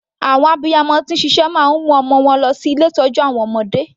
Àwọn abiyamọ tí ń ṣiṣẹ́ máa ń mu ọmọ wọn lọ sí ilé ìtọ́jú àwọn ọmọdé.